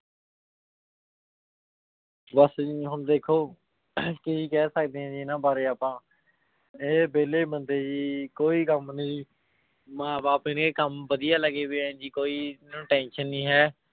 ਬਸ ਜੀ ਹੁਣ ਦੇਖੋ ਕੀ ਕਹਿ ਸਕਦੇ ਹਾਂ ਜੀ ਇਹਨਾਂ ਬਾਰੇ ਆਪਾਂ, ਇਹ ਵਿਹਲੇ ਬੰਦੇ ਜੀ ਕੋਈ ਕੰਮ ਨੀ, ਮਾਂ ਬਾਪ ਇਹਦੇ ਕੰਮ ਵਧੀਆ ਲੱਗੇ ਹੋਏ ਆ ਜੀ ਕੋਈ ਇਹਨੂੰ tension ਨੀ ਹੈ।